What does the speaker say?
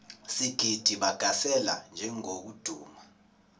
sigidi bagasela njengokuduma